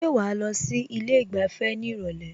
Ṣé wàá lọ sí ilé ìgbafẹ́ ní ìrọ̀lẹ́?